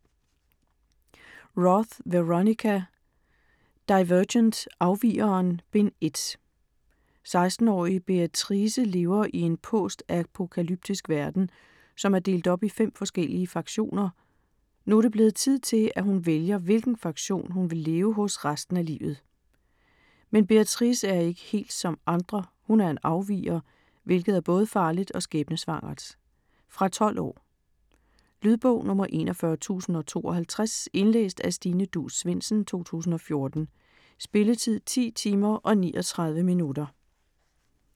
Roth, Veronica: Divergent: Afvigeren: Bind 1 16-årige Beatrice lever i en postapokalyptisk verden, som er delt op i fem forskellige faktioner. Nu er det blevet tid til, at hun vælger hvilken faktion hun vil leve hos resten af livet. Men Beatrice er ikke helt som andre, hun er en afviger, hvilket er både farligt og skæbnesvangert. Fra 12 år. Lydbog 41052 Indlæst af Stine Duus Svendsen, 2014. Spilletid: 10 timer, 39 minutter.